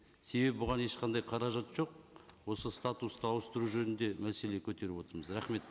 себебі бұған ешқандай қаражат жоқ осы статусты ауыстыру жөнінде мәселе көтеріп отырмыз рахмет